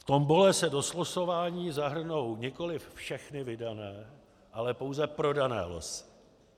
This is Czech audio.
V tombole se do slosování zahrnou nikoliv všechny vydané, ale pouze prodané losy.